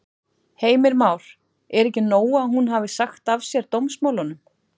Heimir Már: Er ekki nóg að hún hafi sagt af sér dómsmálunum?